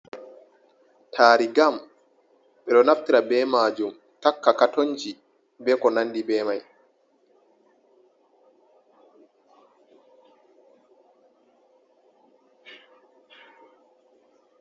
Tari gam: Ɓeɗo naftira be majum takka katonji be ko nandi be mai.